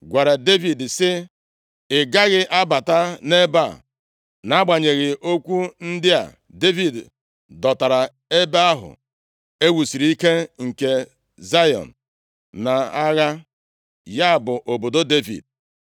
gwara Devid sị, “Ị gaghị abata nʼebe a.” Nʼagbanyeghị okwu ndị a, Devid dọtara ebe ahụ e wusiri ike nke Zayọn nʼagha, ya bụ obodo Devid.